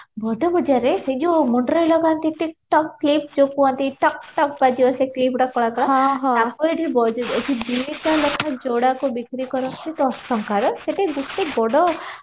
ବଡ ବଜାରରେ ସେଇ ଯୋଉ ମୁଣ୍ଡରେ ଲଗାନତି ଟିକ ଟକ clip ଯୋଉ କୁହନ୍ତି ଟକ ଟକ କରିବ ସେଇ clipଗୁଡା କଳା କଳା ଦିଟା ଲେଖା ଯୋଡା କୁ ବିକ୍ରି କରନ୍ତି ସେଠି ଦଶ ଟଙ୍କାରେ ସେଠି ଗୋଟେ ବଡ